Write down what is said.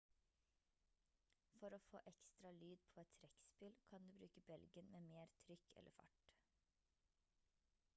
for å få ekstra lyd på et trekkspill kan du bruke belgen med mer trykk eller fart